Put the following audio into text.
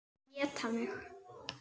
Éta mig.